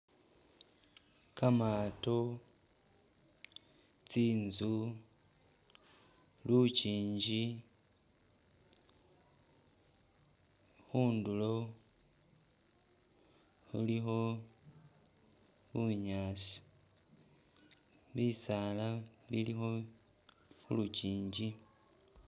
Kamaato tsi'nzu lukyingi khundulo khulikho bunyaasi bisaala bilikho khulukyingi